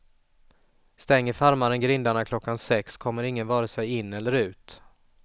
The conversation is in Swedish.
Stänger farmaren grindarna klockan sex kommer ingen vare sig in eller ut.